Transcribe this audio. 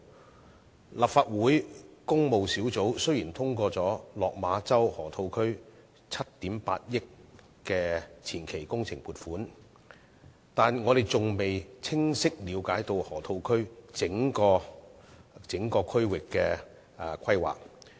雖然立法會工務小組委員會通過了7億 8,000 萬元的落馬洲河套區前期工程撥款，但我們還未清晰了解整個河套區的規劃。